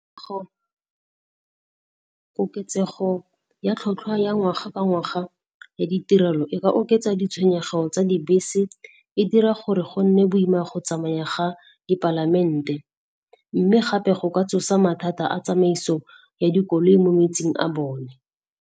Koketsego ya tlhwatlhwa ya ngwaga ka ngwaga ya ditirelo, e ka oketsa ditshwenyego tsa dibese, e dira gore go nne boima go tsamaya ga dipalamente, mme gape go ka tsosa mathata a tsamaiso ya dikoloi mo metseng a bone